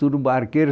Tudo barqueiro.